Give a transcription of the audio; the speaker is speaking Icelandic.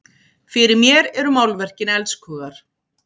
Fyrir mér eru málverkin elskhugar!